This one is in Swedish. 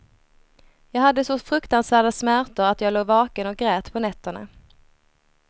Jag hade så fruktansvärda smärtor att jag låg vaken och grät på nätterna.